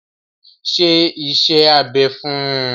Ṣe iṣẹ́ abẹ fún un!